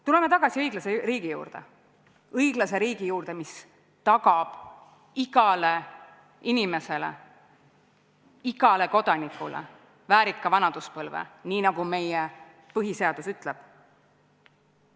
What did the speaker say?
Tuleme tagasi õiglase riigi juurde, mis tagab igale inimesele, igale kodanikule väärika vanaduspõlve, nii nagu meie põhiseadus ütleb.